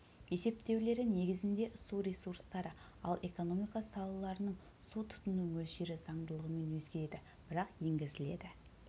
есептеулері негізінде су ресурстары ал экономика салаларының су тұтыну мөлшері заңдылығымен өзгереді бірақ енгізіледі